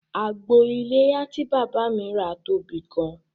Àgbò iléyá tí bàbá mi rà tóbi gan